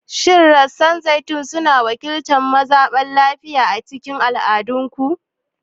Shin rassan zaitun suna wakiltar zaman lafiya a cikin al'adunku?